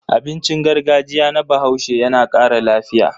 Abincin gargajiya na Bahaushe yana ƙara lafiya.